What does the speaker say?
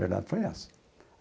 A verdade foi essa.